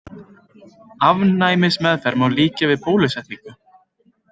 Afnæmismeðferð má líkja við bólusetningu.